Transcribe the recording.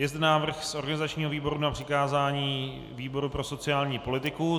Je zde návrh z organizačního výboru na přikázání výboru pro sociální politiku.